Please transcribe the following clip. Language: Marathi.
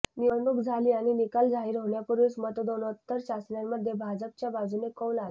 निवडणूक झाली आणि निकाल जाहीर होण्यापूर्वीच मतदानोत्तर चाचण्यांमध्ये भाजपच्या बाजूने कौल आला